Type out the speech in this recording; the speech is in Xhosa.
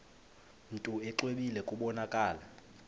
mntu exwebile kubonakala